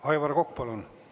Aivar Kokk, palun!